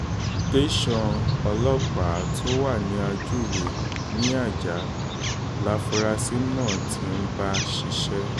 tẹsán ọlọ́pàá tó wà ní ajuwe ní ajah láforasí náà ti ń bá ṣiṣẹ́